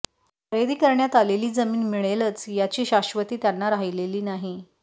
खरेदी करण्यात आलेली जमीन मिळेलच याची शाश्वती त्यांना राहिलेली नाही